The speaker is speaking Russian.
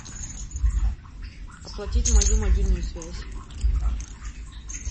оплатить мою мобильную связь